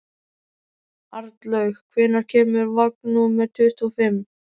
Arnlaug, hvenær kemur vagn númer tuttugu og fimm?